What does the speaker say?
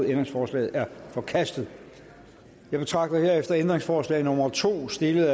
ændringsforslaget er forkastet jeg betragter herefter ændringsforslag nummer to stillet